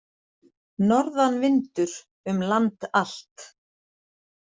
Norðanvindur um land allt